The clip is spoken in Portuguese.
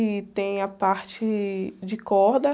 E tem a parte de corda.